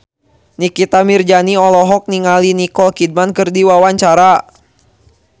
Nikita Mirzani olohok ningali Nicole Kidman keur diwawancara